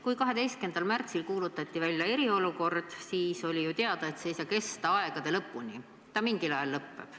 Kui 12. märtsil kuulutati välja eriolukord, siis oli ju teada, et see ei saa kesta aegade lõpuni, vaid mingil ajal see lõpeb.